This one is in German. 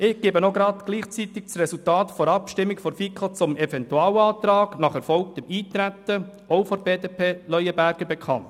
Zugleich gebe ich hier das Resultat der FiKo-Abstimmung zum Eventualantrag nach erfolgtem Eintreten – ebenfalls Leuenberger/BDP – bekannt.